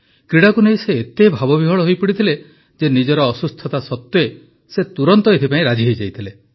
କ୍ରୀଡ଼ାକୁ ନେଇ ସେ ଏତେ ଭାବବିହ୍ୱଳ ହୋଇପଡ଼ିଥିଲେ ଯେ ନିଜର ଅସୁସ୍ଥତା ସତ୍ୱେ ସେ ତୁରନ୍ତ ଏଥିପାଇଁ ରାଜି ହୋଇଯାଇଥିଲେ